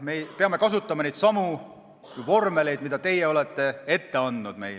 Me peame kasutama neidsamu vormeleid, mida teie olete meile ette andnud.